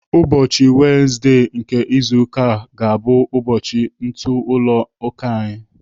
Ụbọchị wenezdee nke izu ụka ga-abụ ụbọchị ntụ ụlọ ụka anyị.